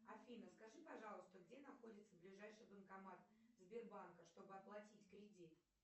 афина скажи пожалуйста где находится ближайший банкомат сбербанка чтобы оплатить кредит